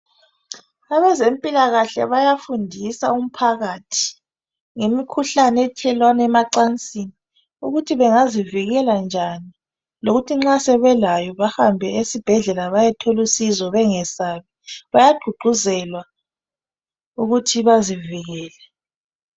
Abezempilakahle bayafundisa umphakathi ngemikhuhlane ethelelwana emacansini ukuthi bengazivikela njani lokuthi nxa sebelayo bahambe esibhedlela bayethola usizo bengesabi. Bayagqugquzelwa ukuthi bazivikele